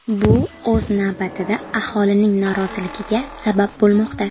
Bu o‘z navbatida aholining noroziligiga sabab bo‘lmoqda.